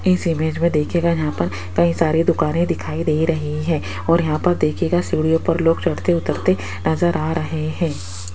इस इमेज में देखिएगा यहां पर कई सारी दुकानें दिखाई दे रहीं है और यहां पर देखिएगा सीढ़ियों पर लोग चढ़ते उतरते नजर आ रहे है।